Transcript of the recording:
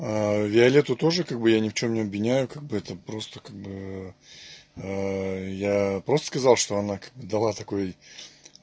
виолетту тоже как бы я ни в чем не обвиняю как бы это просто как бы я просто сказал что она дала такой